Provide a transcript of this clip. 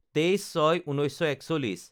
২৩/০৬/১৯৪১